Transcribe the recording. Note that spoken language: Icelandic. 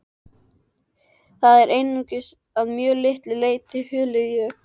Það er einungis að mjög litlu leyti hulið jökli.